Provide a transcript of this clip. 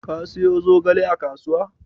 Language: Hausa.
Ka siyo zogale a kasuwa?